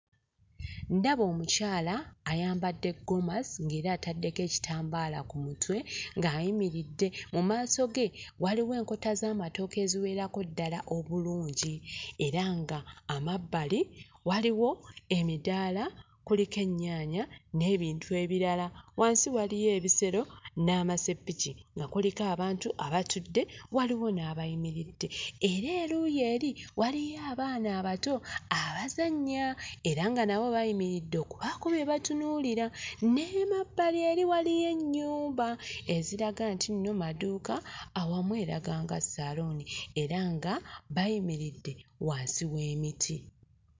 Ndaba omukyala ayambadde gomasi ng'era ataddeko ekitambaala ku mutwe ng'ayimiridde. Mu maaso ge waliwo enkota z'amatooke eziwerako ddala obulungi, era nga amabbali waliwo emidaala kuliko ennyaanya n'ebintu ebirala. Wansi waliyo ebisero n'amaseppiki, nga kuliko abantu abatudde waliwo n'abayimiridde era eruuyi eri waliyo abaana abato abazannya era nga nabo bayimiridde okubaako bye batunuulira. N'emabbali eri waliyo ennyumba eziraga nti nno madduuka awamu eraga era nga saluuni nga bayimiridde wansi w'emiti.